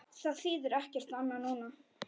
Það þýðir ekkert annað núna.